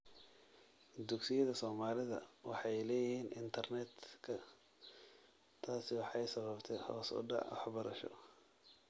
Dugsiyada Soomaalida waxay laayihin internetka taasi waxay sababte hoos udac waxbarasho